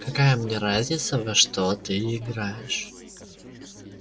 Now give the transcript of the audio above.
какая мне разница во что ты играешь